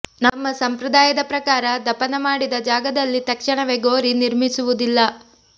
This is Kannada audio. ನಮ್ಮ ಸಂಪ್ರದಾಯದ ಪ್ರಕಾರ ದಫನ ಮಾಡಿದ ಜಾಗದಲ್ಲಿ ತಕ್ಷಣವೇ ಗೋರಿ ನಿರ್ಮಿಸುವುದಿಲ್ಲ